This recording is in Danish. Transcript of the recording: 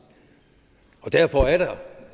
derfor